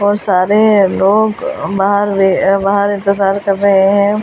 और सारे लोग बाहर वे बाहर इंतेज़ार कर रहे है और।